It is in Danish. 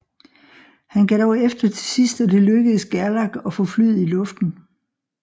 Han gav dog efter til sidst og det lykkedes Gerlach at få flyet i luften